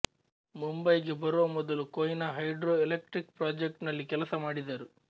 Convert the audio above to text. ಮುಂಬಯಿಗೆ ಬರುವ ಮೊದಲುಕೊಯ್ನಾ hydro electric project ನಲ್ಲಿ ಕೆಲಸಮಾಡಿದರು